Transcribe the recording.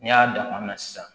N'i y'a dan kuma min na sisan